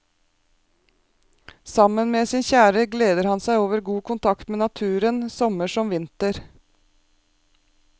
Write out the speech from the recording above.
Sammen med sin kjære gleder han seg over god kontakt med naturen, sommer som vinter.